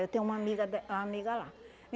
Eu tenho uma amiga de amiga lá.